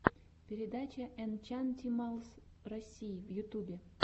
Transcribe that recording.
передача энчантималс россии в ютюбе